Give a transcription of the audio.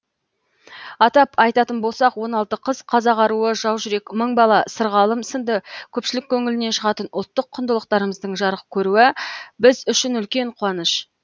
атап айтатын болсақ он алты қыз қазақ аруы жау жүрек мың бала сырғалым сынды көпшілік көңілінен шығатын ұлттық құндылықтарымыздың жарық көруі біз үшін үлкен қуаныш